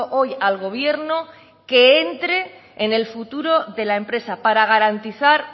hoy al gobierno que entre en el futuro de la empresa para garantizar